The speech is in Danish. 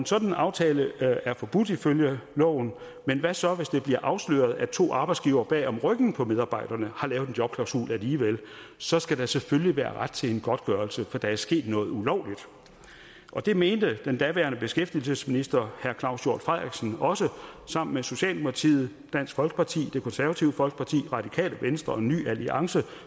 sådan aftale er forbudt ifølge loven men hvad så hvis det bliver afsløret at to arbejdsgivere bag om ryggen på medarbejderne har lavet en jobklausul alligevel så skal der selvfølgelig være ret til en godtgørelse for der er sket noget ulovligt det mente den daværende beskæftigelsesminister herre claus hjort frederiksen også sammen med socialdemokratiet dansk folkeparti det konservative folkeparti radikale venstre ny alliance